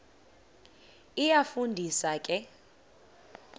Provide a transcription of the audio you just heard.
iyafu ndisa ke